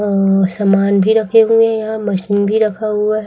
अ सामान भी रखे हुए है यहां मशीन भी रखा हुआ--